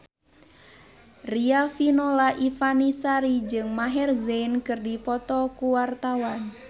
Riafinola Ifani Sari jeung Maher Zein keur dipoto ku wartawan